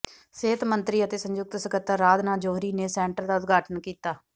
ਸਿਹਤ ਮੰਤਰੀ ਅਤੇ ਸੰਯੁਕਤ ਸਕੱਤਰ ਅਰਾਧਨਾ ਜੌਹਰੀ ਨੇ ਸੈਂਟਰ ਦਾ ਉਦਘਾਟਨ ਕੀਤਾ